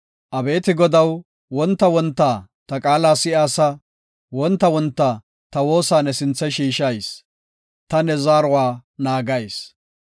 Abeeti Godaw, wonta wonta ta qaala si7aasa. Wonta wonta ta woosa ne sinthe shiishayis; ta ne zaaruwa naagayis.